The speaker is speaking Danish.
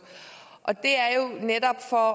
og det er jo netop for